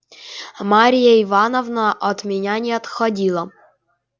марья ивановна от меня не отходила